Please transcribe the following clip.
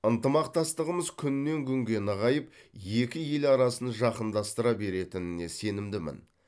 ынтымақтастығымыз күннен күнге нығайып екі ел арасын жақындастыра беретініне сенімдімін